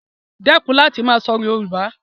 Dẹ́kun láti máa sọ Yoruba